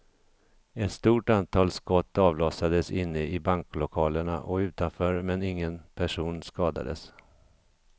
Ett stort antal skott avlossades inne i banklokalerna och utanför men ingen person skadades.